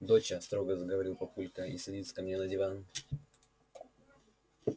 доча строго заговорил папулька и садится ко мне на диван